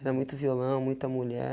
Era muito violão, muita mulher.